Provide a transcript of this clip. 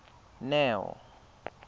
neo